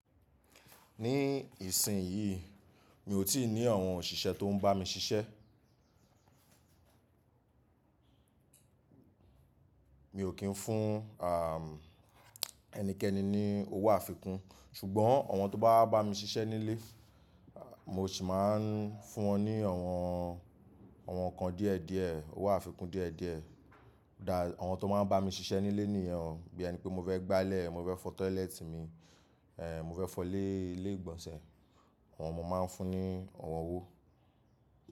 Ní ìsìn yìí mi ò tíì ní àwọn òṣìṣẹ́ tó ń bá mi ṣiṣẹ́. Mi ò kín fún, àm, ẹnikẹ́ni ní owó àfikún. Ṣùgbọ́n àwọn tó bá bá mi ṣiṣẹ́ nílé, mo sì máa ń fún wọn ní àwọn, àwọn ǹkan díẹ̀ díẹ̀, owó àfikún díẹ̀ díẹ̀. Than àwọn tó máa ń bá mi ṣiṣẹ́ nílé nìyẹn o. Bí ẹni pé mo fẹ́ gbálẹ̀, mo fẹ́ fọ toilet mi, ẹ, mo fẹ́ fọ lé, ilé ìgbọ̀nsẹ̀. Àwọn mo máa ń fún ní àwọn owó.